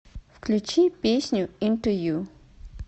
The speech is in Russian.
включи песню инту ю